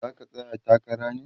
zaka tsaya takara ne?